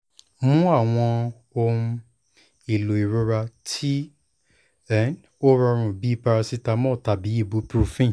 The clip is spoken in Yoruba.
mu awọn ohun-elo irora ti um o rọrun bi paracetamol tabi ibuprofen